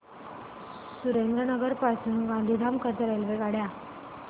सुरेंद्रनगर पासून गांधीधाम करीता रेल्वेगाड्या